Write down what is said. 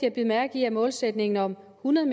at bide mærke i at målsætningen om hundrede